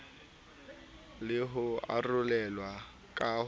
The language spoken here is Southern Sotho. le ho arolelwa ka ho